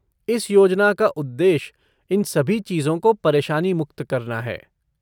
इस योजना का उद्देश्य इन सभी चीजों को परेशानी मुक्त करना है।